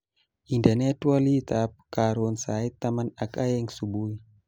Indenee twoliitab karon sait taman ak aeng subui